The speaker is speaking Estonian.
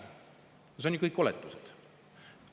Aga need on ju kõik oletused.